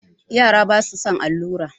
Yara basu son allura.